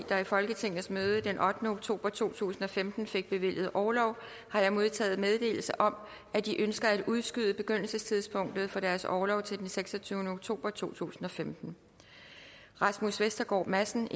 der i folketingets møde den ottende oktober to tusind og femten fik bevilget orlov har jeg modtaget meddelelse om at de ønsker at udskyde begyndelsestidspunktet for deres orlov til den seksogtyvende oktober to tusind og femten rasmus vestergaard madsen